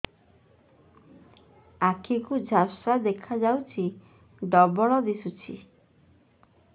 ଆଖି କୁ ଝାପ୍ସା ଦେଖାଯାଉଛି ଡବଳ ଦିଶୁଚି